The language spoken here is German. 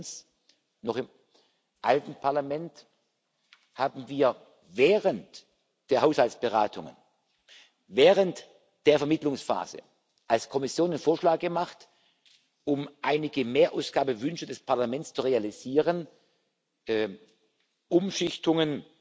sein. Wir erinnern uns Noch im alten Parlament haben wir während der Haushaltsberatungen, während der Vermittlungsphase als Kommission den Vorschlag gemacht um einige Mehrausgabewünsche des Parlaments zu realisieren Umschichtungen